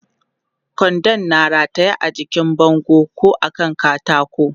Kwandon na rataye a jikin bango ko a kan katako.